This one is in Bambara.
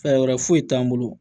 Fɛn wɛrɛ foyi t'an bolo